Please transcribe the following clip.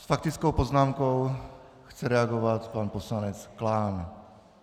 S faktickou poznámkou chce reagovat pan poslanec Klán.